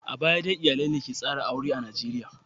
A baya dai iyalai ne ke tsara aure a Najeriya.